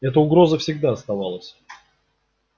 эта угроза всегда оставалась